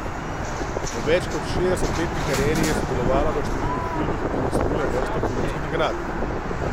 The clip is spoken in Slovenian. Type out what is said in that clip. V več kot šestdesetletni karieri je sodelovala v številnih filmih in osvojila vrsto filmskih nagrad.